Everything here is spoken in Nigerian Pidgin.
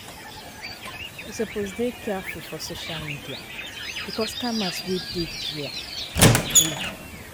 You suppose dey careful for social media bicos scammers wey dey dia boku.